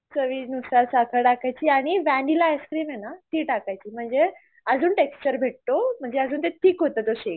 चवीनुसार साखर टाकायची आणि वनेला आईस्क्रीम आहेना ती टाकायची म्हणजे अजून टेक्श्चर भेटतो म्हणजे ते अजून थिक होत ते शेक